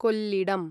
Kollidam